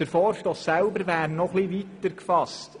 Der Vorstoss selbst wäre jedoch noch etwas weiter gefasst.